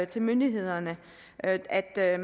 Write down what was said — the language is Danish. til myndighederne at at